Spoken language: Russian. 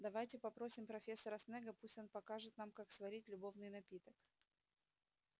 давайте попросим профессора снегга пусть он покажет нам как сварить любовный напиток